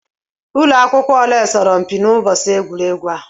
Ụlọ akwụkwọ ole soro mpi n'ụbọchị egwuregwu ahụ?